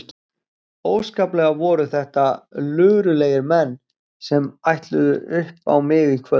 Óskaplega voru þetta luralegir menn sem ætluðu upp á mig í kvöld.